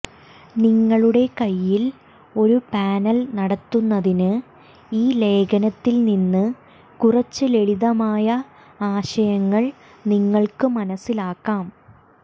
നിങ്ങളുടെ കൈയ്യിൽ ഒരു പാനൽ നടത്തുന്നതിന് ഈ ലേഖനത്തിൽനിന്ന് കുറച്ച് ലളിതമായ ആശയങ്ങൾ നിങ്ങൾക്ക് മനസിലാക്കാം